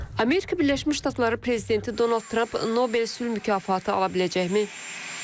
Amerika Birləşmiş Ştatları prezidenti Donald Trump Nobel sülh mükafatı ala biləcəkmi?